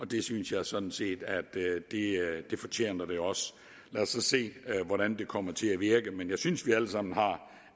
det synes jeg sådan set at det fortjener lad os så se hvordan det kommer til at virke men jeg synes at vi alle sammen har